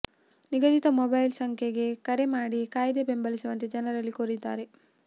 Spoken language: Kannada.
ನಿಗದಿತ ಮೊಬೈಲ್ ಸಂಖ್ಯೆಗೆ ಕರೆ ಮಾಡಿ ಕಾಯ್ದೆ ಬೆಂಬಲಿಸುವಂತೆ ಜನರಲ್ಲಿ ಕೋರಿದ್ದಾರೆ